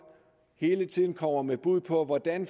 hele tiden kommer med bud på hvordan